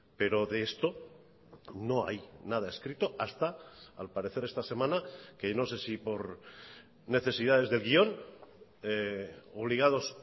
pero de esto no hay nada escrito hasta al parecer esta semana que no sé si por necesidades de guión obligados